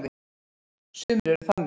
Sumir eru þannig.